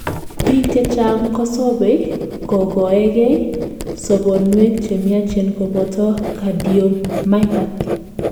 biik chechang kosobei kogoegei, sobonwek chemiachen koboto cardiomyopathy